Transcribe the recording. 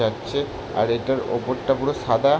যাচ্ছে আর এইটার ওপরটা পুরো সাদা।